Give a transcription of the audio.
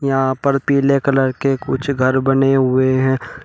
यहां पर पीले कलर के कुछ घर बने हुए हैं।